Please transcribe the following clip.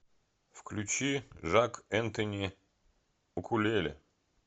включи жак энтони укулеле